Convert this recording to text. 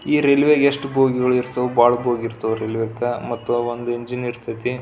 ಈ ರೈಲ್ವೆ ಯೆಸ್ಟ್ ಬೋಗಿಗಳು ಇರ್ತವು ರೈಲೇವೇ ಗ ಮತ್ತು ಒಂದು ಇಂಜಿನ್ ಇರ್ತಾತಿ --